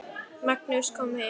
Magnús kom heim.